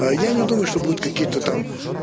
а я не думаю что будут какие-то там